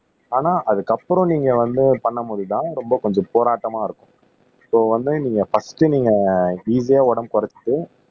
ஆனா அதுக்கப்புறம் நீங்க வந்து பண்ணும் போதுதான் ரொம்ப கொஞ்சம் போராட்டமா இருக்கும் சோ வந்து நீங்க பர்ஸ்ட் நீங்க ஈசியா உடம்பு குறைச்சு